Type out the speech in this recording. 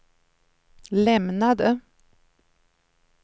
lämnade